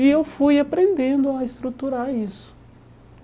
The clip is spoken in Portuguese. E eu fui aprendendo a estruturar isso.